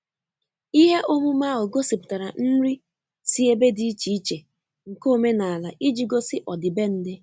Ihe omume ahu gosipụtara nri si ebe di iche iche nke omenala iji gosi ọdibendị.